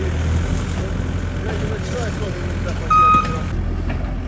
yerdə yoxdur.